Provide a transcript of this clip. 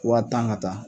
Wa tan ka taa